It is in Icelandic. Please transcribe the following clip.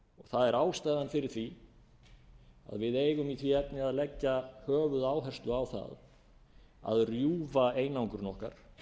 það er ástæðan fyrir því að við eigum í því efni að leggja höfuðáherslu á það að rjúfa einangrun okkar